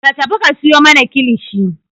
Ka tafi ka sayo mana kilishi!